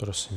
Prosím.